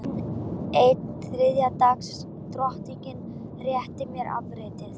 Enn ein þriðja dags drottningin réttir mér afritið.